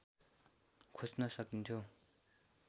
खोज्न सकिन्थ्यो